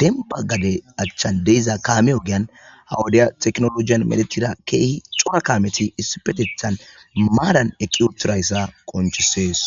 denba gade achchan deiza kaame ogiyan hawodiya teknoloiyan medechira keehi cora kaameti issipetethan maadan eqiuturayssa qonchisees